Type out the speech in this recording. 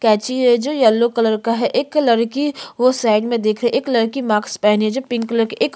कैची है जो yellow colour का है एक लड़की वो साइड में दिख रही है एक लड़की मास्क पहनी है जो पिंक कलर की एक--